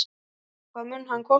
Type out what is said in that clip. Hvað mun hann kosta?